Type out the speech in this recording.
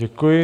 Děkuji.